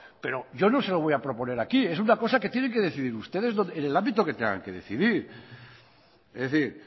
pero yo no se lo voy a proponer aquí es una cosa que tienen que decidir ustedes en el ámbito que tengan que decidir es decir